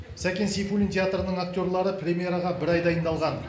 сәкен сейфуллин театрының актерлары премьераға бір ай дайындалған